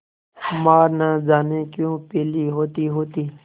माँ न जाने क्यों पीली होतीहोती